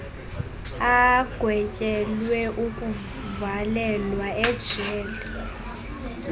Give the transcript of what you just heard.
agwetyelwe ukuvalelwa ejele